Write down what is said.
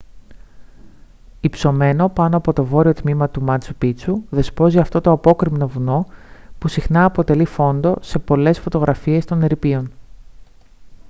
υψωμένο πάνω από το βόρειο τμήμα του μάτσου πίτσου δεσπόζει αυτό το απόκρημνο βουνό που συχνά αποτελεί φόντο σε πολλές φωτογραφίες των ερειπίων